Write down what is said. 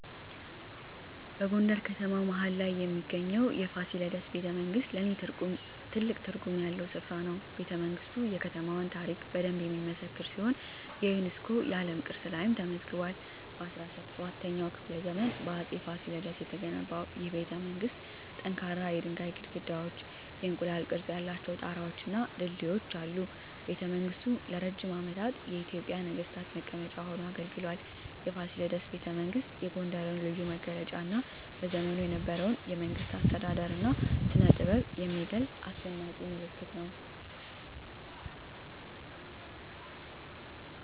በጎንደር ከተማ መሀል ላይ የሚገኘው የፋሲለደስ ቤተመንግሥት ለኔ ትልቅ ትርጉም ያለው ስፍራ ነው። ቤተመንግስቱ የከተማዋን ታሪክ በደንብ የሚመሰክር ሲሆን የዩኔስኮ የዓለም ቅርስ ላይም ተመዝግቧል። በ17ኛው ክፍለ ዘመን በአፄ ፋሲለደስ የተገነባው ይህ ቤተመንግሥት ጠንካራ የድንጋይ ግድግዳዎች፣ የእንቁላል ቅርፅ ያላቸው ጣራወች እና ድልድዮች አሉት። ቤተመንግሥቱ ለረጅም ዓመታት የኢትዮጵያ ነገሥታት መቀመጫ ሆኖ አገልግሏል። የፋሲለደስ ቤተመንግሥት የጎንደርን ልዩ መገለጫ እና በዘመኑ የነበረውን የመንግሥት አስተዳደር እና ስነጥበብ የሚገልጽ አስደናቂ ምልክት ነው።